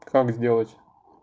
как сделать